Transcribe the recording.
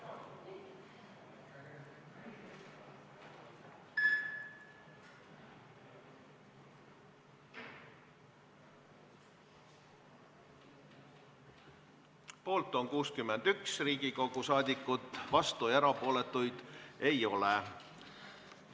Hääletustulemused Poolt on 61 Riigikogu liiget, vastuolijaid ja erapooletuid ei ole.